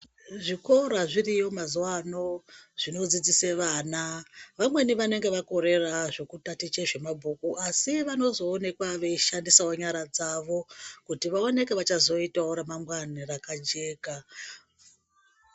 Zvikora zviriyo mazuva ano zvinodzidzise vana, vamweni vanenge vakorera zvekutatiche mabhuku asi vanozonekwa veishandisawo nyara dzavo kuti vaoneke vachazoitawo remangwani rakajeka.